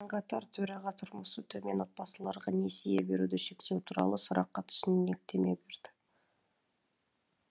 сонымен қатар төраға тұрмысы төмен отбасыларға несие беруді шектеу туралы сұраққа түсініктеме берді